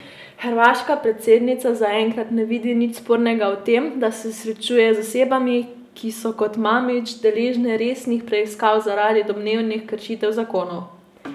Hrvaška predsednica zaenkrat ne vidi nič spornega v tem, da se srečuje z osebami, ki so kot Mamić deležne resnih preiskav zaradi domnevnih kršitev zakonov.